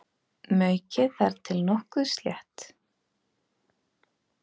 Maukið þar til nokkuð slétt.